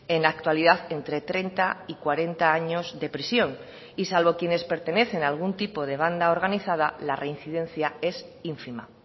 en la actualidad entre treinta y cuarenta años de prisión y salvo quienes pertenecen algún tipo de banda organizada la reincidencia es ínfima